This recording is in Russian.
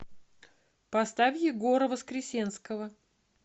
поставь егора воскресенского